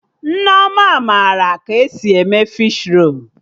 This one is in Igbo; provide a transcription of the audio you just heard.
Nneoma mara ka esi eme fishi rolu